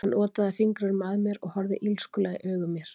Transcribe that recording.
Hann otaði fingrinum að mér og horfði illskulega í augu mér.